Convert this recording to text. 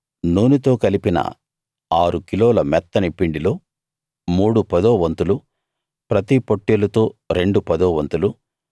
నూనెతో కలిపిన ఆరు కిలోల మెత్తని పిండిలో మూడు పదో వంతులు ప్రతి పొట్టేలుతో రెండు పదో వంతులు